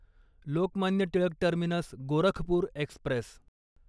Lokmanya Tilak terminus Gorakhpur Express